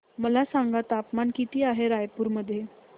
मला सांगा तापमान किती आहे रायपूर मध्ये